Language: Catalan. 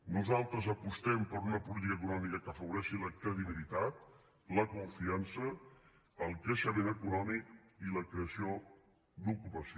nosaltres apostem per una política econòmica que afavoreixi la credibilitat la confiança el creixement econòmic i la creació d’ocupació